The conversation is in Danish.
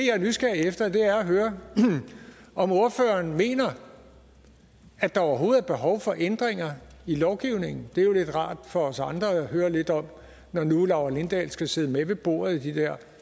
er nysgerrig efter er at høre om ordføreren mener at der overhovedet er behov for ændringer i lovgivningen det er jo rart for os andre at høre lidt om når nu laura lindahl skal sidde med ved bordet i de der